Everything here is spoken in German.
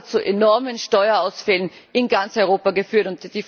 Das hat zu enormen Steuerausfällen in ganz Europa geführt.